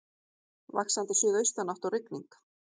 Vaxandi suðaustanátt og rigning